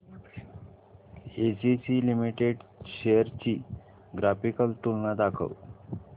ACC limited shares ची graphical तुलना दाखव